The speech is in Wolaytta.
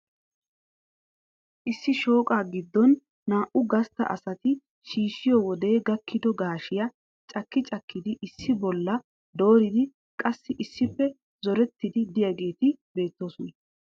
Issi shooqa gidon naa"u gastta asati shiishshiyo wode gakkido gaashshiyaa cakki cakkidi issi bolla dooride qassi issippe zorettide de'iyaageeti beettoosona.